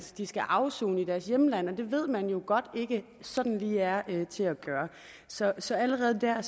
de skal afsone i deres hjemland det ved man jo godt ikke sådan lige er til at gøre så så allerede der